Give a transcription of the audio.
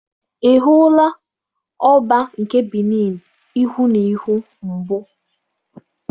Ị hụla Ọbá nke Benịn ihu na ihu mbụ?